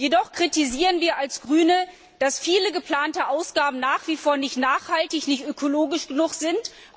Jedoch kritisieren wir als Grüne, dass viele geplante Ausgaben nach wie vor nicht nachhaltig, nicht ökologisch genug sind.